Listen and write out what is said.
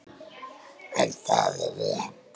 En það er rétt.